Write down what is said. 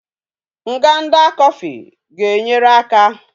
Nganda coffee ga enyere aka